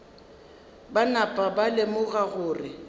ba napa ba lemoga gore